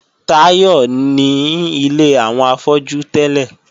Táyọ̀ ní ilé àwọn afọ́jú tẹ́lẹ̀